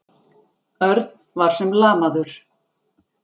Örn var sem lamaður.